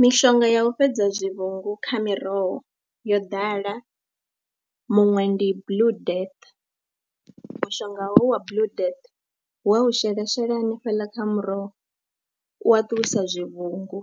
Mishonga ya u fhedza zwivhungu kha miroho yo ḓala, muṅwe ndi blue death, mushonga hoyu wa blue death wa u shela shela hanefheḽa kha muroho u a ṱuwisa zwivhungu